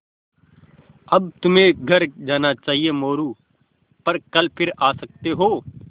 अब तुम्हें घर जाना चाहिये मोरू पर कल फिर आ सकते हो